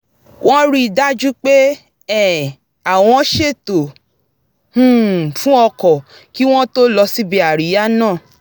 wọ́n rí i dájú pé um àwọn ṣètò um fún o̩kò̩ kí wọ́n tó lọ síbi àríyá náà